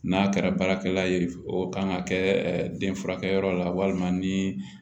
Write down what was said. N'a kɛra baarakɛla ye o kan ka kɛ den furakɛyɔrɔ la walima ni